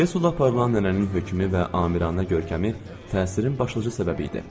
Qrəslə aparılan nənənin hökmü və amirəna görkəmi təsirin başlıca səbəbi idi.